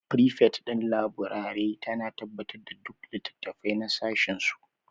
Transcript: Frifet ɗin laburare tana tabbatar da duk littattafai na sashinsu